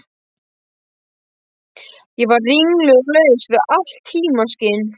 Ég var ringluð og laus við allt tímaskyn.